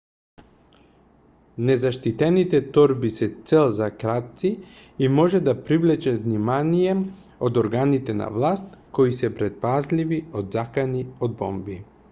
незаштитените торби се цел за крадци и може да привлечат внимание од органите на власт кои се претпазливи од закани од бомби